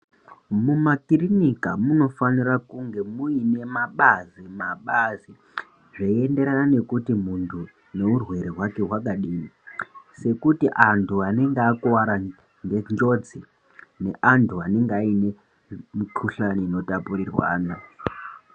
Muma kirinika munofanira kunga muine mabazi, mabazi zveiendererana nekuti muntu neurwere hwake hwakadini sokuti antu anenge akuwara ngenjodzi ne antu anenge aine mukhuhlani ino tapurirwana.